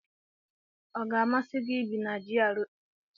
Ọ ga-amasị gị ibi na GRA?